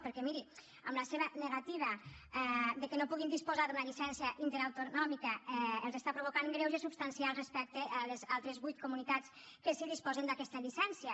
perquè miri amb la seva negativa que no puguin disposar d’una llicència interautonòmica els està provocant greuges substancials respecte a les altres vuit comunitats que sí disposen d’aquesta llicència